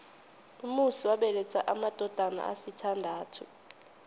umusi wabeletha amadodana asithandathu